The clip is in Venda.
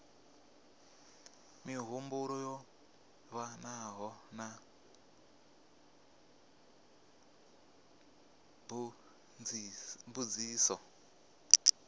mihumbulo yo livhanaho na mbudziso